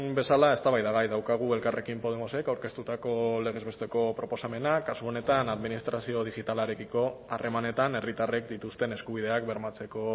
bezala eztabaidagai daukagu elkarrekin podemosek aurkeztutako legez besteko proposamena kasu honetan administrazio digitalarekiko harremanetan herritarrek dituzten eskubideak bermatzeko